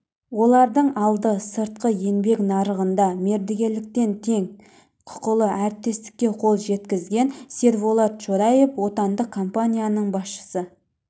олардың алды сыртқы еңбек нарығында мердігерліктен тең құқылы әріптестікке қол жеткізген серболат шораев отандық компанияның басшысы